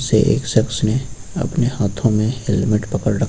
एक शख्स ने अपने हाथों में हेलमेट पकड़ र--